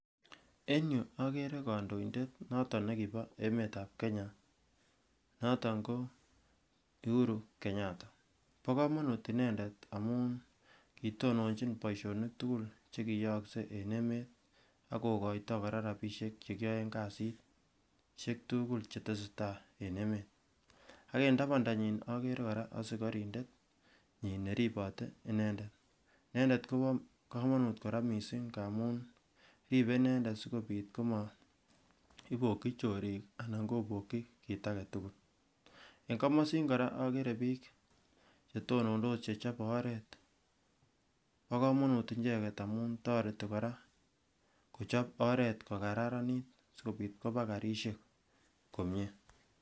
En yuu oker kondoindet noton nekibo emet ab kenya noton ko Uhuru Kenyata bo komonut inendet amun kitononchi boishonik tukul chekitese tai en emet ak kokoito koraa rabishek chekiyoe kasitshek tukul chetesetai en emet ak en tabandanyin okere koraa osikorindet nyin neribe inendet, inendet kobo komonut koraa missing ngamun ribe inendet sikobit komoiboki chorik anan koboki kit agetukul, en komosin koraa okere bik chechobe oret bo komonut icheket amun toreti koraa kochob oret kokararanit sikobit koba karishek komie.